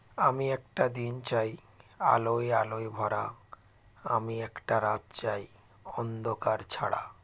আমি একটা দিন চাই আলোয় আলোয় ভরা আমি একটা রাত চাই অন্ধকার ছাড়া